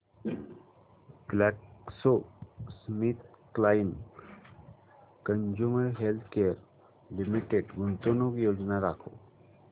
GlaxoSmithKline consumer healthcare limited गुंतवणूक योजना दाखव